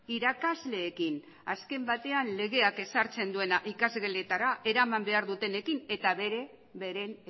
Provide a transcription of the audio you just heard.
irakasleekin ere azken batean legeak ezartzen duena ikasgeletara eraman behar dutenekin eta beren